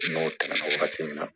N'o tɛmɛna wagati min na